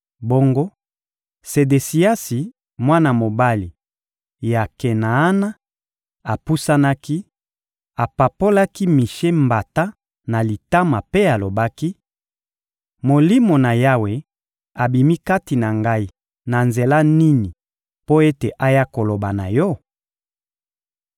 Bongo Sedesiasi, mwana mobali ya Kenaana, apusanaki, apapolaki Mishe mbata na litama mpe alobaki: — Molimo na Yawe abimi kati na ngai na nzela nini mpo ete aya koloba na yo?